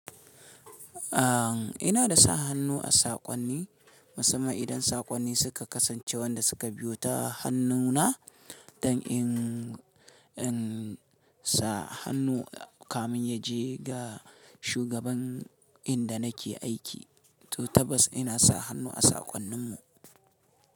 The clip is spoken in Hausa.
An, ina da sa hannu a saƙonni. Musamman idan saƙonni suka kasance wanda suka biyo ta hannuna dan in in sa hannu kamin ya je ga shugaban inda nake aiki. To tabbas ina sa hannu a saƙonnin mu.